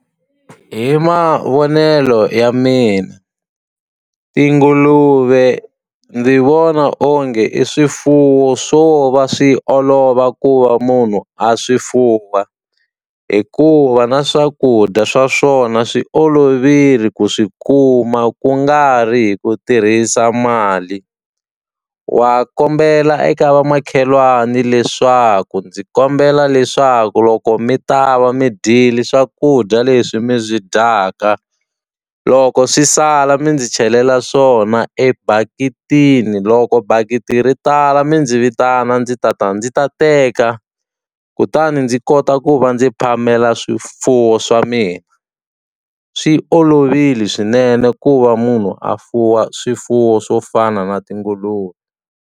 Hi mavonelo ya mina, tinguluve ndzi vona onge i swifuwo swo va swi olova ku va munhu a swi fuwa. Hikuva na swakudya swa swona swi olovile ku swi kuma ku nga ri hi ku tirhisa mali. Wa kombela eka vamakhelwani leswaku ndzi kombela leswaku loko mi ta va mi dyile swakudya leswi mi byi dyaka, loko swi sala mi ndzi chelela swona ebaketini. Loko bakiti ri tala mi ndzi vitana ndzi ndzi ta ta ndzi ta teka, kutani ndzi kota ku va ndzi phamela swifuwo swa mina. Swi olovile swinene ku va munhu a fuwa swifuwo swo fana na tinguluve.